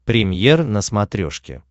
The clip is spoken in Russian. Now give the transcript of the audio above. премьер на смотрешке